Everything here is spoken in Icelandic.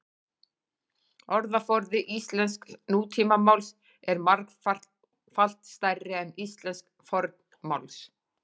Orðaforði íslensks nútímamáls er margfalt stærri en íslensks fornmáls.